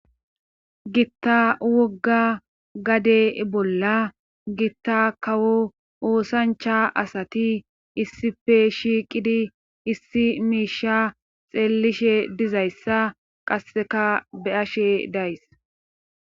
gitta wogga gade bolla gitta kawo oosancha asati issife shiiqidi issi miisha xeellishe dizayssa qasseka be'ashe days